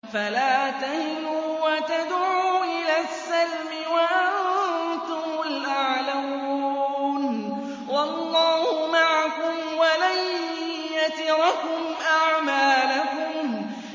فَلَا تَهِنُوا وَتَدْعُوا إِلَى السَّلْمِ وَأَنتُمُ الْأَعْلَوْنَ وَاللَّهُ مَعَكُمْ وَلَن يَتِرَكُمْ أَعْمَالَكُمْ